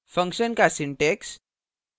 function function का syntax